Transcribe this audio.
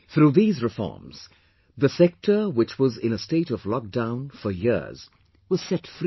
Through these reforms, the sector which was in a state of lockdown for years was set free